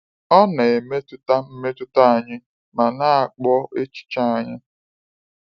Ọ na-emetụta mmetụta anyị ma na-akpụ echiche anyị.